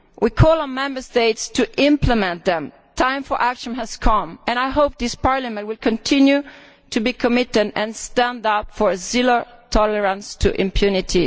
We call on Member States to implement these. The time for action has come, and I hope this Parliament will continue to be committed and stand up for zero tolerance to impunity.